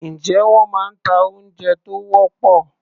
Ǹjé wọ́n máa ń ta oúnjẹ tó wọ́pọ̀?